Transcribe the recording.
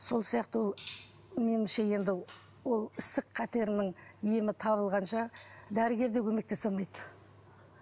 сол сияқты ол меніңше енді ол ісік қатерінің емі табылғанша дәрігер де көмектесе алмайды